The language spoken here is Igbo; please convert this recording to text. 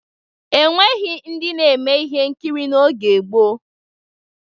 E nweghi ndị na-eme ihe nkiri n'oge gboo.